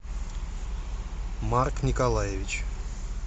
марк николаевич